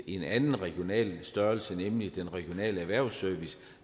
en anden regional størrelse nemlig den regionale erhvervsservice